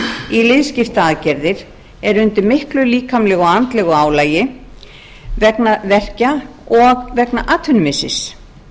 í liðskiptaaðgerðir er undir miklu líkamlegu vegna verkja og vegna atvinnumissis